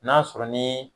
N'a sɔrɔ ni